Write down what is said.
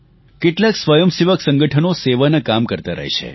કેટલાંય સ્વયંસેવક સંગઠનો સેવાનાં કામ કરતાં રહે છે